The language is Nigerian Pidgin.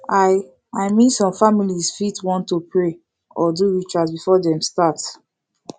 i i min som familiz fit wan to pray or do rituals before dem start